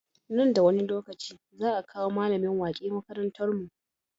Nan da wani lokaci za a kawo mallamin wake makarantar mu